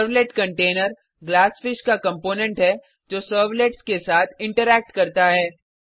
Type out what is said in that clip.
servlet container GlassFish का component है जो सर्वलेट्स के साथ इंटरैक्ट करता है